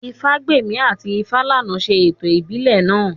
Ifágbèmí àti Ifálànà ṣe ètò ìbílẹ̀ náà